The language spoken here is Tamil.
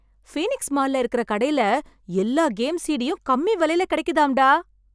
ஃபீனிக்ஸ் மால்ல இருக்கற கடையில எல்லா கேம் சிடியும் கம்மி விலைக்கு கிடைக்குதாம் டா.